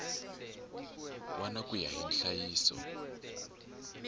wana ku ya hi nhlayiso